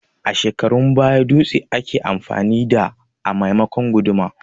A shekarun baya dutse ake amfani da a maimakon guduma